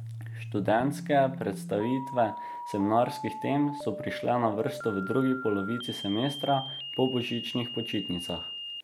Študentske predstavitve seminarskih tem so prišle na vrsto v drugi polovici semestra, po božičnih počitnicah.